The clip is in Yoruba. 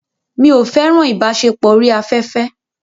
Mi ò fẹ́ràn ìbáṣepọ̀ orí afẹ́fẹ́.